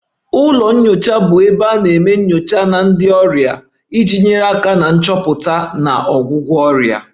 Ụlọ nyocha bụ ebe a na-eme nyocha na ndị ọrịa iji nyere aka na nchọpụta na ọgwụgwọ ọrịa